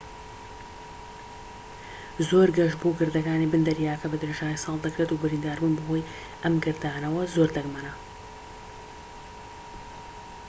زۆر گەشت بۆ گردەکانی بن دەریاکە بە درێژایی ساڵ دەکرێت و برینداربوون بەهۆی ئەم گردانەوە زۆر دەگمەنە